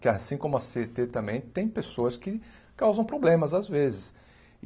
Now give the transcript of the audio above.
que assim como a Cê ê tê também, tem pessoas que causam problemas às vezes.